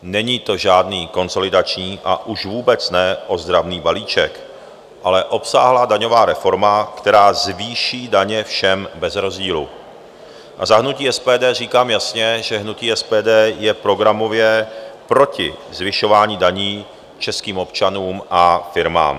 Není to žádný konsolidační, a už vůbec ne ozdravný balíček, ale obsáhlá daňová reforma, která zvýší daně všem bez rozdílu, a za hnutí SPD říkám jasně, že hnutí SPD je programově proti zvyšování daní českým občanům a firmám.